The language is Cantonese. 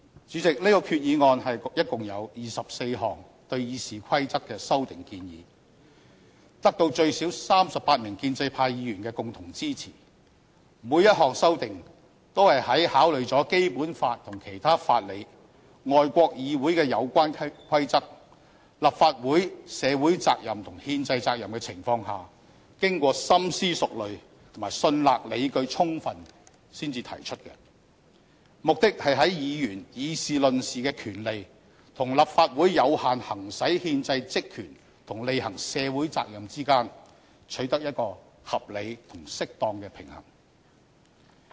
主席，這項決議案共有24項對《議事規則》的修訂建議，得到最少38名建制派議員的共同支持，每項修訂都是在考慮了《基本法》和其他法理、外國議會的有關規則、立法會社會責任和憲制責任的情況下，經過深思熟慮及信納理據充分才提出的，目的是在議員議事論事的權利和立法會有效行使憲制職權及履行社會責任之間取得一個合理和適當的平衡。